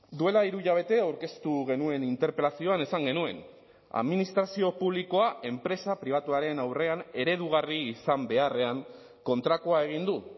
duela hiru hilabete aurkeztu genuen interpelazioan esan genuen administrazio publikoa enpresa pribatuaren aurrean eredugarri izan beharrean kontrakoa egin du